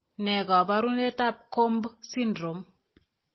Ne kaabarunetap Cobb Syndrome?